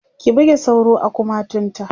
ki buge sauro a kumatun ta!